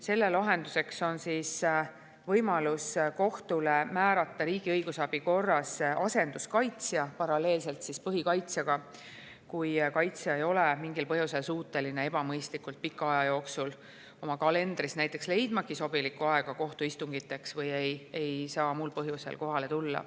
Selle lahenduseks saab kohus võimaluse määrata riigi õigusabi korras asenduskaitsja paralleelselt põhikaitsjaga, kui kaitsja ei ole mingil põhjusel suuteline ebamõistlikult pika aja jooksul oma kalendrist näiteks leidma sobilikku aega kohtuistungiteks või ei saa muul põhjusel kohale tulla.